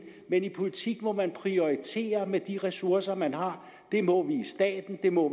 men i politik må man prioritere de ressourcer man har det må vi i staten det må